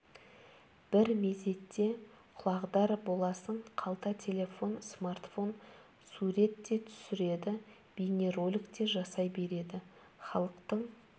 бір мезетте құлағдар боласың қалта телефон смартфон сурет те түсіреді бейнеролик те жасай береді халықтың